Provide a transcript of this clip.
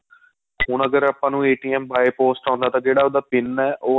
ਹੁਣ ਅਗਰ ਆਪਾਂ ਨੂੰ by post ਆਉਦਾ ਤਾਂ ਜਿਹੜਾ ਉਹਦਾ pin ਏ